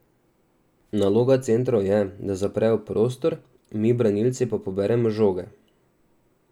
Naloga centrov je, da zaprejo prostor, mi branilci pa poberemo žoge.